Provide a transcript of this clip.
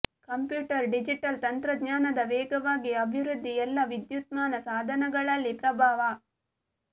computer digital ತಂತ್ರಜ್ಞಾನದ ವೇಗವಾಗಿ ಅಭಿವೃದ್ಧಿ ಎಲ್ಲಾ ವಿದ್ಯುನ್ಮಾನ ಸಾಧನಗಳಲ್ಲಿ ಪ್ರಭಾವ